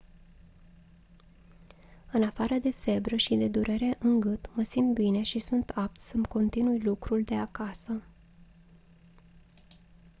«în afară de febră și de durere în gât mă simt bine și sunt apt să-mi continui lucrul de acasă